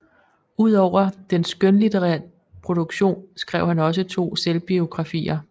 Udover den skønlitterære produktion skrev han også to selvbiografier